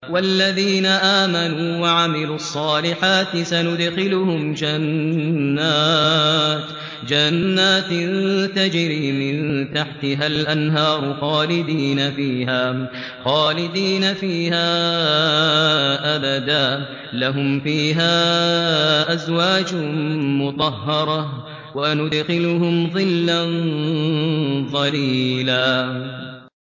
وَالَّذِينَ آمَنُوا وَعَمِلُوا الصَّالِحَاتِ سَنُدْخِلُهُمْ جَنَّاتٍ تَجْرِي مِن تَحْتِهَا الْأَنْهَارُ خَالِدِينَ فِيهَا أَبَدًا ۖ لَّهُمْ فِيهَا أَزْوَاجٌ مُّطَهَّرَةٌ ۖ وَنُدْخِلُهُمْ ظِلًّا ظَلِيلًا